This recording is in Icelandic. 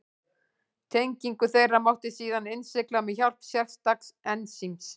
Tengingu þeirra mátti síðan innsigla með hjálp sérstaks ensíms.